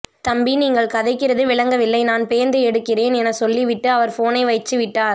தம்பி நீங்கள் கதைக்கிறது விளங்கவில்லை நான் பேந்து எடுக்கிறேன் என சொல்லி விட்டு அவர் போனை வைச்சு விட்டார்